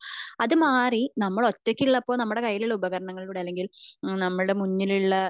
അത് മാറി നമ്മൾ ഒറ്റക് മുല്ലപ്പൂ നമ്മളുടെ കയ്യിലുള്ള ഉപകാരണങ്ങളിലൂടെ നമ്മളുടെ മുന്നിൽ ഉള്ള